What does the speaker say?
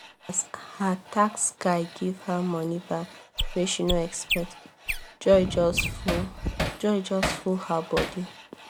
as her tax guy give her money back wey she no expect joy just full joy just full her body